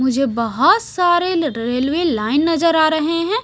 मुझे बहुत सारे रेलवे लाइन नजर आ रहे हैं।